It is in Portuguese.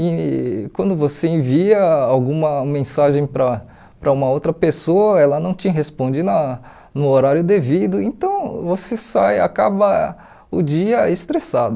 E quando você envia alguma mensagem para para uma outra pessoa, ela não te responde na no horário devido, então você sai, acaba o dia estressado.